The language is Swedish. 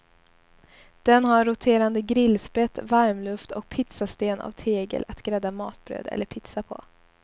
Den har roterande grillspett, varmluft och pizzasten av tegel att grädda matbröd eller pizza på.